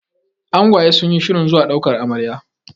angwaye sun yi shirin zuwa daukar Amarya